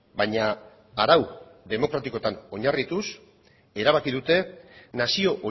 baina arau demokratikotan oinarrituz erabaki dute nazio